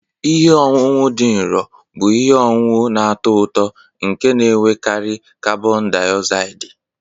Ihe ọṅụṅụ dị nro bụ ihe ọṅụṅụ na-atọ ụtọ nke na-enwekarị karbon diozaidi.